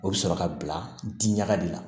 O bɛ sɔrɔ ka bila di ɲaga de la